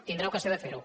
tindrà ocasió de fer ho